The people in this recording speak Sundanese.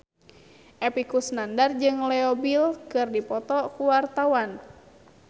Epy Kusnandar jeung Leo Bill keur dipoto ku wartawan